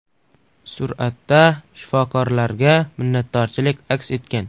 Suratda shifokorlarga minnatdorchilik aks etgan.